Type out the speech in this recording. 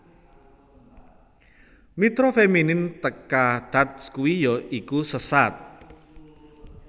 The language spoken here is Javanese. Mitra feminin teka thath kui ya iku Seshat